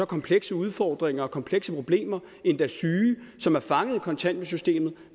komplekse udfordringer og komplekse problemer endda syge som er fanget i kontanthjælpssystemet